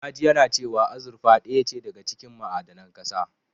Na ji yana cewa azurfa ɗaya ce daga cikin ma'adanan ƙasa.